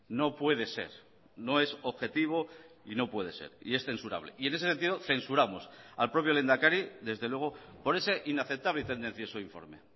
no puede ser no es objetivo y no puede ser y es censurable y en ese sentido censuramos al propio lehendakari desde luego por ese inaceptable y tendencioso informe